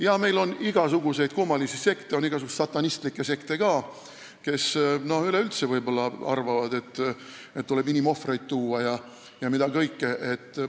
Jah, meil on igasuguseid kummalisi sekte, ka igasuguseid satanistlikke sekte, kes võib-olla arvavad, et tuleb inimohvreid tuua ja mida kõike veel.